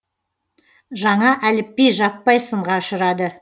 жаңа әліпби жаппай сынға ұшырады